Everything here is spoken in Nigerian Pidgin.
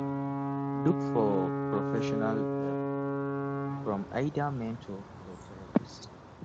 look for professional help from either mentor or therapist